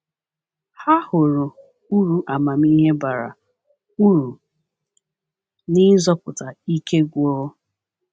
Ha hụrụ uru amamihe bara uru n’ịzọpụta ike gwụrụ.